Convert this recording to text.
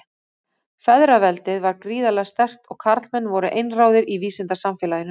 Feðraveldið var gríðarlega sterkt og karlmenn voru einráðir í vísindasamfélaginu.